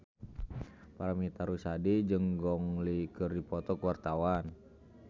Paramitha Rusady jeung Gong Li keur dipoto ku wartawan